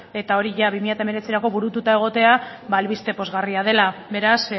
eta hori jada bi mila hemeretzirako burututa egotea ba albiste pozgarria dela beraz